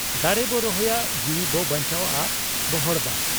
ᱫᱟᱨᱮ ᱵᱚ ᱨᱚᱦᱚᱭᱟ ᱡᱤᱣᱤ ᱵᱚ ᱵᱟᱧᱪᱟᱣᱜᱼᱟ ᱵᱚᱦᱚᱲᱫᱟ